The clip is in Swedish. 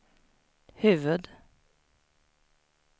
huvud